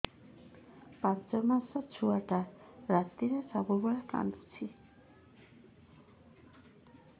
ପାଞ୍ଚ ମାସ ଛୁଆଟା ରାତିରେ ସବୁବେଳେ କାନ୍ଦୁଚି